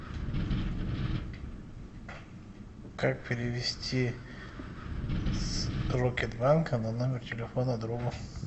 как перевести с рокетбанка на номер телефона другу